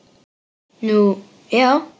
Nú, já?